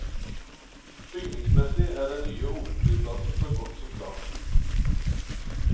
Bygningsmessig er den nye hovedflyplassen så godt som klar.